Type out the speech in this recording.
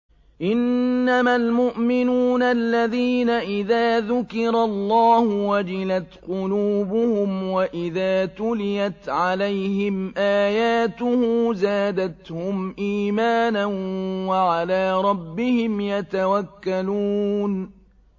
إِنَّمَا الْمُؤْمِنُونَ الَّذِينَ إِذَا ذُكِرَ اللَّهُ وَجِلَتْ قُلُوبُهُمْ وَإِذَا تُلِيَتْ عَلَيْهِمْ آيَاتُهُ زَادَتْهُمْ إِيمَانًا وَعَلَىٰ رَبِّهِمْ يَتَوَكَّلُونَ